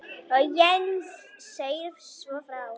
Heinz segir svo frá: